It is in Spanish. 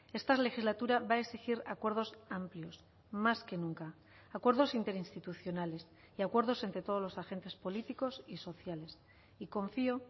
esta legislatura va a exigir acuerdos amplios más que nunca acuerdos interinstitucionales y acuerdos entre todos los agentes políticos y sociales y confío